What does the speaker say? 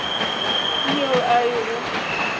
ke yeo e a go